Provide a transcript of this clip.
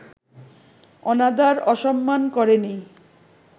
অনাদার-অসম্মান করেনি